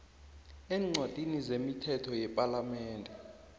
eencwadini zemithetho yepalamende